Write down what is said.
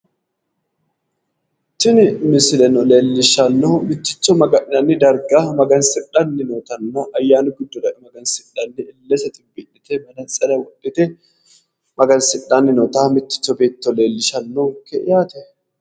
tini misileno leellishshanohu mitticho magansi'nanni darga magansidhanni nootanna ayyaanu giddora e'e magansidhanni illese xinbii'lite manantsire wodhite magansidhanni noota mitticho beetto leellishshanonke yaate.